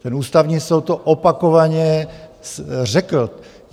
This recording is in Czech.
Ten Ústavní soud to opakovaně řekl.